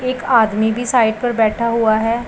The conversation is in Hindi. एक आदमी भी साइड पर बैठा हुआ है।